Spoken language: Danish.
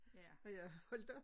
At jeg holdt op